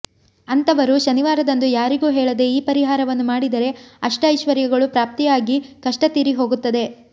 ಅಂತವರು ಶನಿವಾರದಂದು ಯಾರಿಗೂ ಹೇಳದೆ ಈ ಪರಿಹಾರವನ್ನು ಮಾಡಿದರೆ ಅಷ್ಟ ಐಶ್ವರ್ಯಗಳು ಪ್ರಾಪ್ತಿಯಾಗಿ ಕಷ್ಟತೀರಿಹೋಗುತ್ತದೆ